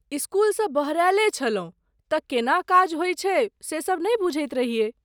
इसकुलसँ बहरायले छलहुँ तऽ केना काज होयत छै से सभ नहि बुझैत रहियै ।